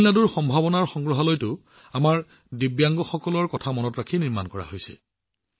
তামিলনাডুৰ সম্ভাৱনা সংগ্ৰহালয়টো আমাৰ দিব্যাংগ লোকসকলৰ কথা মনত ৰাখি নিৰ্মাণ কৰা হৈছে